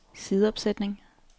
sideopsætning